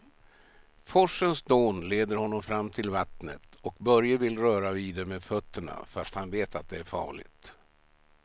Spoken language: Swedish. Forsens dån leder honom fram till vattnet och Börje vill röra vid det med fötterna, fast han vet att det är farligt.